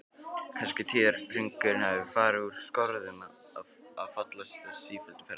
Kannski tíðahringurinn hafi farið úr skorðum af þessu sífellda ferðalagi?